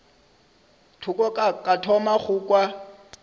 thoko ka thoma go kwa